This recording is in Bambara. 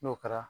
N'o kɛra